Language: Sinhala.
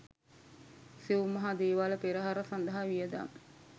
සිව් මහා දේවාල පෙරහර සඳහා වියදම්